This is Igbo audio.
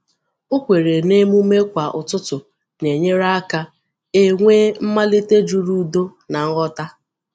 Ọ kwèrè na emume kwa ụtụtụ na-enyere ka e nwee mmalite juru udo na nghọta.